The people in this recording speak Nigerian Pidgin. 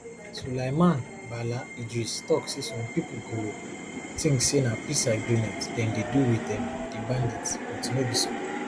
sulaiman bala idris tok say some pipo go tink say na peace agreement dem dey do wit um di bandits but e no be so